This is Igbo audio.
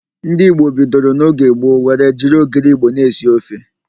Ndị Igbo bidoro n'oge gboo were jiri ogiri Igbo na-esi ofe.